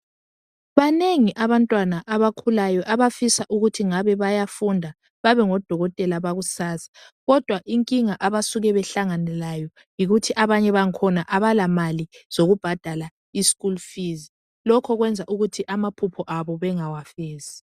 Banengi abantwana abakhulayo abafisa ukuthi ngabe bayafunda babe ngodokotela bakusasa kodwa inkinga abasuka behlangane layo yikuthi abanye bangkhona abala mali zokubhadala i school fees lokhu kwenza ukuthi amaphupho Abo bangawafezi